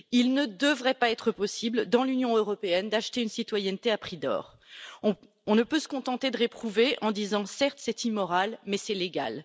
il ne devrait pas être possible, dans l'Union européenne, d'acheter une citoyenneté à prix d'or. Nous ne pouvons pas nous contenter de le réprouver en disant certes, c'est immoral, mais c'est légal.